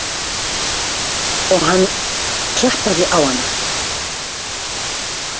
Og hann klappaði á hana.